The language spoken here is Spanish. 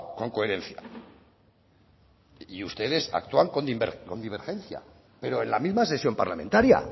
con coherencia y ustedes actúan con divergencia pero en la misma sesión parlamentaria